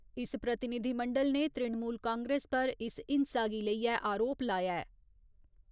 इस प्रतिनिधिमंडल ने तृणमूल कांग्रेस पर इस हिंसा गी लेइयै आरोप लाया ऐ।